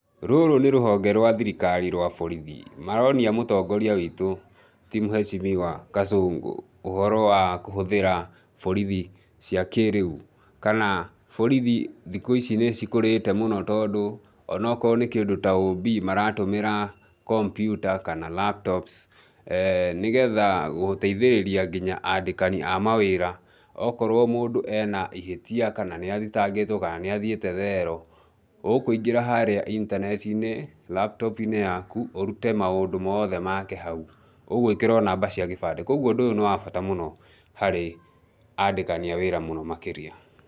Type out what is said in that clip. Rũrũ nĩ rũhonge rwa thirikari rwa borithi. Maronia mũtongoria witũ ti mheshimiwa Kasongo ũhoro wa kũhũthĩra borithi cia kĩĩrĩu, kana borithi thikũ ici nĩ cikũrĩte mũno tondũ o na ũkorũo nĩ kĩndũ ta OB maratũmĩra kompiuta kana laptops, nigetha gũteithĩrĩria nginya andĩkani a mawĩra .Okorũo mũndũ e na ihĩtia kana nĩ athitangĩtwo, kana nĩ athiĩte thero, ũkũingĩra harĩa intaneti-inĩ laptop -inĩ yaku, ũrute maũndũ mothe make hau. Ũgwĩkĩra o namba cia kĩbandĩ. Kwoguo ũndũ ũyũ nĩ wa bata mũno harĩ andĩkani a wĩra mũno makĩria.